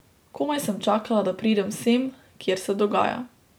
Komaj sem čakala, da pridem sem, kjer se dogaja.